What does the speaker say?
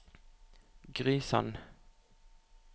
Gry Sand